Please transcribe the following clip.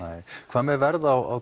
hvað með verð á